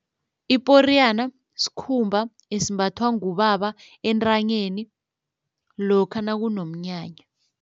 Iporiyana sikhumba esimbathwa ngubaba entanyeni lokha nakunomnyanya.